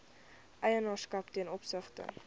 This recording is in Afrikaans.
eienaarskap ten opsigte